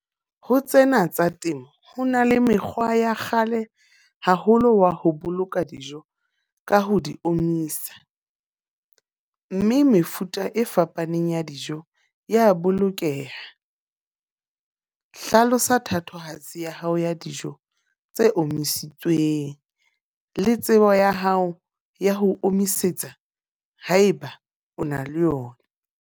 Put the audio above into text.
Ho tsena tsa temo, ho na le mekgwa ya kgale haholo wa ho boloka dijo ka ho di omisa. Mme mefuta e fapaneng ya dijo ya bolokeha. Hlalosa thatohatsi ya hao ya dijo tse omisitsweng. Le tsebo ya hao ya ho omisetsa, haeba o na le yona.